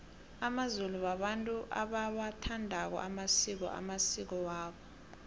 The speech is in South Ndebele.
amazulu babantu abawathandako amasiko amasiko wabo